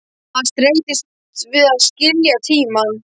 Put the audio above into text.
Hann streitist við að skilja tímann.